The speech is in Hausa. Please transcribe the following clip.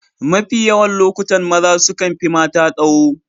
Mafi yawan lokuta maza sukan fi mata tsaho